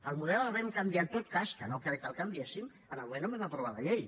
el model el vam canviar en tot cas que no crec que el canviéssim en el moment que vam aprovar la llei